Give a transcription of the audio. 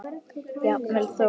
Jafnvel þó